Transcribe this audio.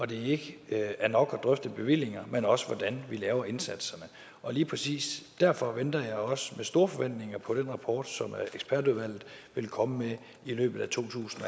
det ikke er nok at drøfte bevillinger men også hvordan vi laver indsatserne og lige præcis derfor venter jeg også med store forventninger på den rapport som ekspertudvalget vil komme med i løbet af to tusind